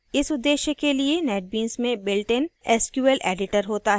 इस उद्देश्य के लिए netbeans में builtइन sqlएडिटर होता है